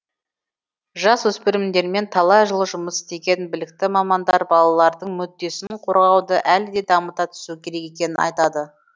жасөспірімдермен талай жыл жұмыс істеген білікті мамандар балалардың мүддесін қорғауды әлі де дамыта түсу керек екенін айтады